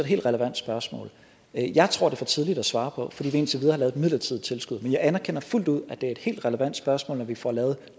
helt relevant spørgsmål jeg tror det er for tidligt at svare på fordi vi indtil videre et midlertidigt tilskud men jeg anerkender fuldt ud at det er et helt relevant spørgsmål når vi får lavet